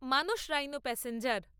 মনোস rhino passenger